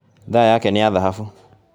Thaa yake ni ya thahabu